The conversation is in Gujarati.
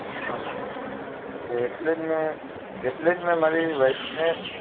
હા મેમ તે એટલેજ મેં એટલે જ મેં મારી wife